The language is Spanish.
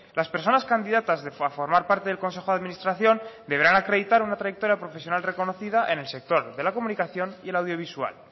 las personas candidatas a formar parte del consejo de administración deberán acreditar una trayectoria profesional reconocida en el sector de la comunicación y el audiovisual